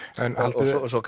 en haldið þið svo